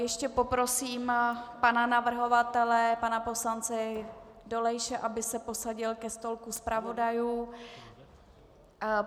Ještě poprosím pana navrhovatele pana poslance Dolejše, aby se posadil ke stolku zpravodajů.